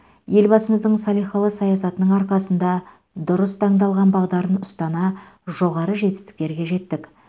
елбасымыздың салихалы саясатының арқасында дұрыс таңдалған бағдарын ұстана жоғары жетістіктерге жеттік